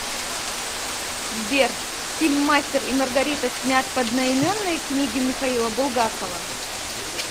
сбер фильм мастер и маргарита снят по одноименнои книге михаила булгакова